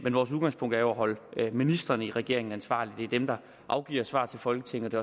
vores udgangspunkt er jo at holde ministrene i regeringen ansvarlige det er dem der afgiver svar til folketinget